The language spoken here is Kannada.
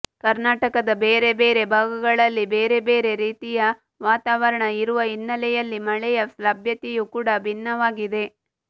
ಕರ್ನಾಟಕದ ಬೇರೆ ಬೇರೆ ಭಾಗಗಳಲ್ಲಿ ಬೇರೆ ಬೇರೆ ರೀತಿಯ ವಾತಾವರಣ ಇರುವ ಹಿನ್ನೆಲೆಯಲ್ಲಿ ಮಳೆಯ ಲಭ್ಯತೆಯೂ ಕೂಡ ಭಿನ್ನವಾಗಿದೆ